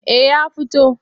Eh ya fito.